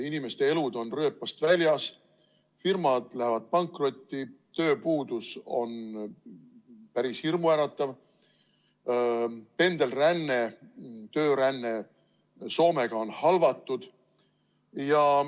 Inimeste elud on rööpast väljas, firmad lähevad pankrotti, tööpuudus on päris hirmuäratav, pendelränne, tööränne Soomega on halvatud.